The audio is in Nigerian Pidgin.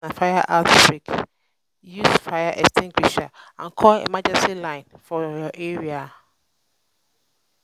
if na fire outbreak use fire um extinguisher and call emergency line um for your area